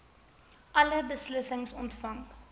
alle beslissings ontvang